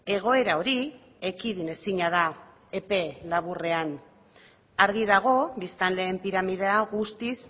egoera hori ekidin ezina da epe laburrean argi dago biztanleen piramidea guztiz